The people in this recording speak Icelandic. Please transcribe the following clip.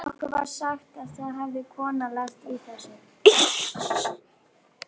Áður en ég sæki son konunnar í skólann.